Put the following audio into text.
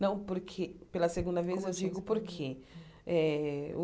Não, porque pela segunda vez Como assim eu digo por quê. Eh o